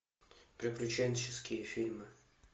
приключенческие фильмы